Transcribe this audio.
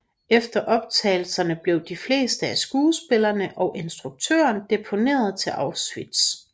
Efter optagelserne blev de fleste af skuespillerne og instruktøren deporteret til Auschwitz